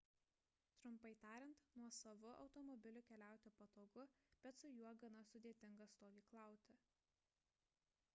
trumpai tariant nuosavu automobiliu keliauti patogu bet su juo gana sudėtinga stovyklauti